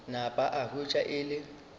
napa a hwetša e le